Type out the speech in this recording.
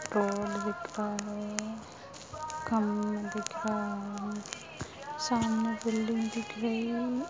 Road दिख रहा है सामने बिल्डिंग दिख रही है।